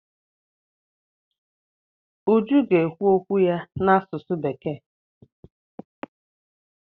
Uju ga-ekwu okwu ya n'asụsụ bekee.